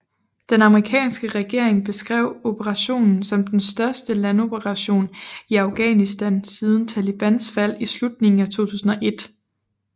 Den amerikanske regering beskrev operationen som den største landoperation i Afghanistan siden Talibans fald i slutningen af 2001